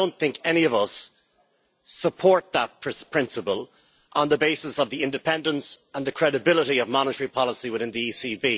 And I don't think any of us support that principle on the basis of the independence and the credibility of monetary policy within the ECB.